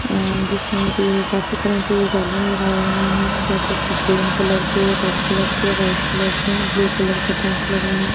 अ जिसमे की काफी तरह की बलून लगाये हुए है जैसे की ग्रीन कलर की रेड कलर के वाईट कलर के ब्लू कलर का टेंट लगा है।